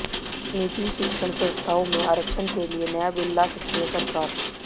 निजी शिक्षण संस्थाओं में आरक्षण के लिए नया बिल ला सकती है सरकार